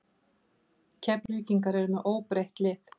Keflvíkingar eru með óbreytt lið.